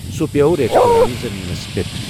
سُہ پیوٚو ریسہِ دوران زٔمیٖنَس پٮ۪ٹھ۔